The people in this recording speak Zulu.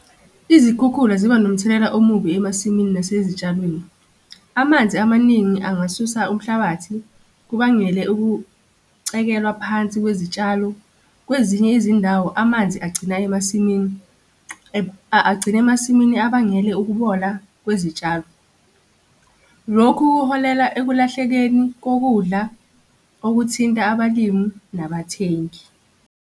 Izikhukhula ziba nomthelela omubi emasimini nasezitshalweni. Amanzi amaningi angasusa umhlabathi kubangele ukucekelwa phansi kwezitshalo, kwezinye izindawo amanzi agcina emasimini agcina emasimini abangele ukubola kwezitshalo. Lokhu kuholela ekulahlekeni kokudla okuthinta abalimi nabathengi.